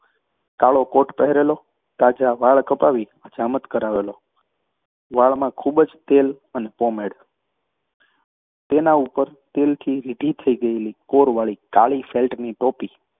કાળો કોટ પહેરેલો, તાજા વાળ કપાવી હજામત કરાવેલો, વાળમાં ખૂબ તેલ અને પોમેડ, ઉપર તેલથી રીઢી થઈ ગયેલી કોરવાળી કાળી ફેલ્ટની ટોપી,